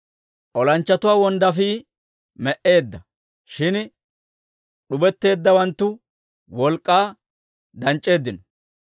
«Olanchchatuwaa wonddaafii me"eedda; shin d'ubetteeddawanttu wolk'k'aa danc'c'eeddino.